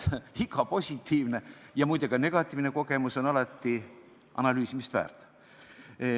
Iga positiivne ja, muide, ka negatiivne kogemus on alati analüüsimist väärt.